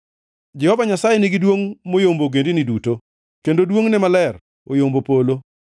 Jehova Nyasaye nigi duongʼ moyombo ogendini duto, kendo duongʼne maler oyombo polo.